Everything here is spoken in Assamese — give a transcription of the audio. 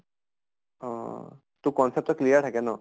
অহ তোৰ concept ত clear থাকে ন?